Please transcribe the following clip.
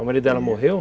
O marido dela morreu?